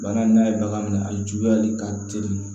Bagan n'a ye bagan minɛ a juguyali ka teli